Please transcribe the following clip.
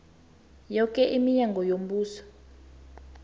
yoke iminyango yombuso